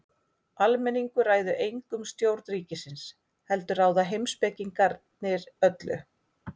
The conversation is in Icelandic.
Almenningur ræður engu um stjórn ríkisins heldur ráða heimspekingarnir öllu.